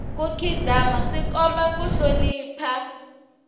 ku khidzama swi komba ku hlonipha